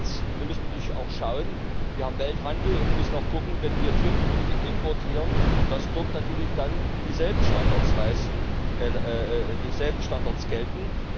Zweitens müssen wir natürlich auch schauen Wir haben Welthandel, und wir müssen auch sehen, dass, wenn wir Tierprodukte importieren, dort natürlich dann dieselben Standards gelten.